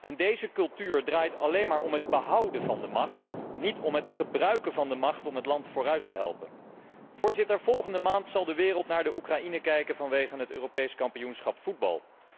En deze cultuur draait alleen maar om het behouden van de macht en niet om het gebruiken van de macht om het land vooruit te helpen. Voorzitter, volgende maand zal de wereld naar Oekraïne kijken vanwege het Europees kampioenschap voetbal.